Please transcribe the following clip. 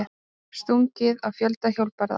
Stungið á fjölda hjólbarða